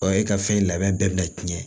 Ɔ e ka fɛn labɛn bɛɛ bina tiɲɛ